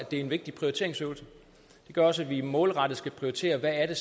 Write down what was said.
det er en vigtig prioriteringsøvelse det gør også at vi målrettet skal prioritere hvad det